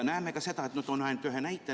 Näeme ka seda, mille kohta toon ainult ühe näite.